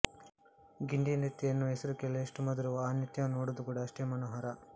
ಗಿಂಡಿ ನೃತ್ಯ ಎನ್ನುವ ಹೆಸರು ಕೇಳಲು ಎಷ್ಟು ಮಧುರವೋ ಆ ನೃತ್ಯವನ್ನು ನೋಡುವುದು ಕೂಡಾ ಅಷ್ಟೇ ಮನೋಹರ